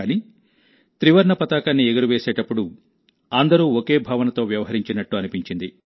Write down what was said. కానీ త్రివర్ణ పతాకాన్ని ఎగురవేసేటప్పుడు అందరూ ఒకే భావనతో వ్యవహరించినట్టు అనిపించింది